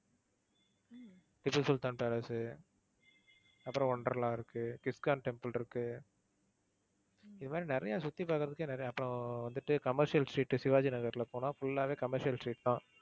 Tipu Sultan palace, அப்புறம் Wonderla இருக்கு, ISKCON temple இருக்கு இது மாதிரி நிறைய சுத்தி பாக்கறதுக்கே நிறைய அப்பறம் வந்துட்டு commercial street சிவாஜி நகர்ல போனா full ஆவே commercial street தான்.